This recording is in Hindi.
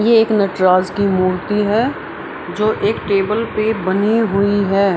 ये एक नटराज की मूर्ति है जो एक टेबल पे बनी हुई है।